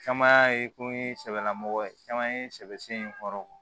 Caman ye kun ye sɛbɛlamɔgɔ ye caman ye sɛbɛ sen kɔrɔ